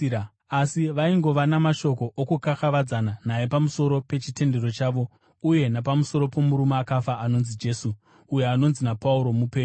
Asi, vaingova namashoko okukakavadzana naye pamusoro pechitendero chavo uye napamusoro pomurume akafa anonzi Jesu, uyo anonzi naPauro mupenyu.